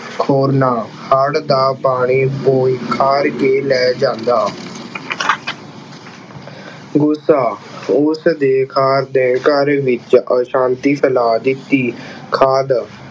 ਖੋਰਨਾ ਹੜ ਦਾ ਪਾਣੀ ਖਾਰ ਕੇ ਲੈ ਜਾਂਦਾ। ਗੁੱਸਾ ਉਸਦੇ ਖਾਰ ਨੇ ਘਰ ਵਿੱਚ ਆਸ਼ਾਂਤੀ ਫੈਲਾ ਦਿੱਤੀ। ਖਾਣ